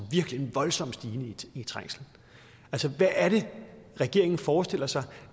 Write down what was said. virkelig en voldsom stigning i trængslen hvad er det regeringen forestiller sig